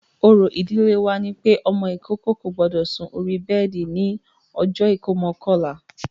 Òrò ìdílé wa ni pé ọmọ ìkókó kò gbọdọ̀ sun orí bẹ́ẹ̀di ní ọjọ́ ìkómọ kọ̀la